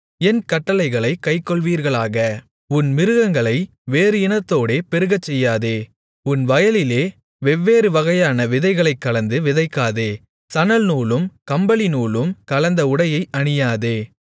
என் கட்டளைகளைக் கைக்கொள்வீர்களாக உன் மிருகங்களை வேறு இனத்தோடே பெருகச்செய்யாதே உன் வயலிலே வெவ்வேறு வகையான விதைகளைக் கலந்து விதைக்காதே சணல்நூலும் கம்பளிநூலும் கலந்த உடையை அணியாதே